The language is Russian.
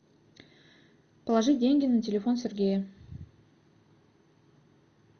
положи деньги на телефон сергея